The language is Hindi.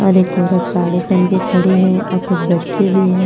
और एक औरत साड़ी पहन के खड़ी है अ कुछ बच्चे भी है।